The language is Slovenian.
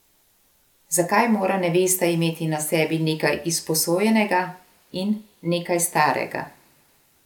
Zakaj mora nevesta imeti na sebi nekaj izposojenega in nekaj starega?